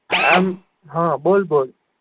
આમ હમ બોલ બોલ